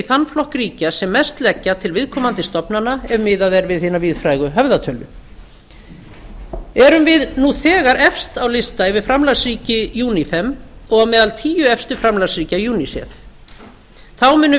þann flokk ríkja sem mest leggja til viðkomandi stofnana ef miðað er við hina víðfrægu höfðatölu erum við nú þegar efst á lista yfir framlagsríki unifem og á meðal tíu efstu framlagsríkja unicef þá munum við